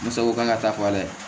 N sago kan ka taa fa dɛ